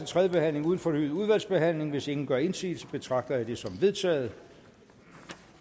tredje behandling uden fornyet udvalgsbehandling hvis ingen gør indsigelse betragter jeg det som vedtaget